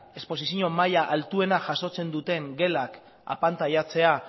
esposizio maila altuena jasotzen duten gelak apantailatzea